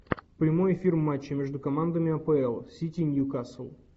прямой эфир матча между командами апл сити ньюкасл